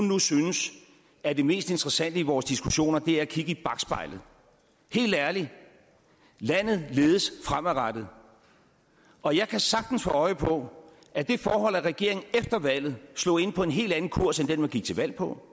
nu synes at det mest interessante i vores diskussioner er at kigge i bakspejlet helt ærligt landet ledes fremadrettet og jeg kan sagtens få øje på at det forhold at regeringen efter valget slog ind på en helt anden kurs end den man gik til valg på